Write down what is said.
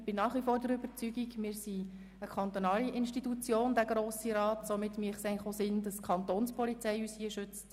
Ich bin nach wie vor der Überzeugung, dass es – da wir als Grosser Rat eine kantonale Institution sind – eigentlich sinnvoll wäre, wenn uns die Kantonspolizei hier schützt.